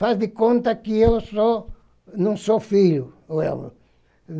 Faz de conta que eu não sou não sou filho.